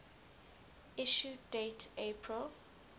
issue date april